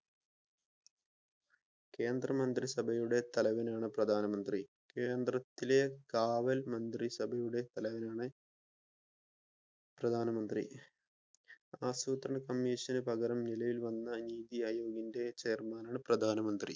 കേന്ദ്ര മന്ത്രി സഭയുടെ തലവനാണ് പ്രധാനമന്ത്രി. കേന്ദ്രത്തിലെ കാവൽ മന്ത്രിസഭയുടെ തലവനാണ് പ്രധാനമന്ത്രി. ആസൂത്രണ കമ്മീഷൻ പകരം നിലയിൽ വന്ന നീതി ആയോഗിന്റെ ചെയര്മാനാണ് പ്രധാനമന്ത്രി